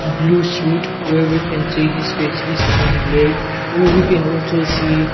blue suit where we can see his face is imblured we we can also see--